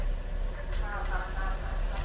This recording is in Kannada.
ಹಾ ಹಾ ಹಾ ಹಾ ಹಾ.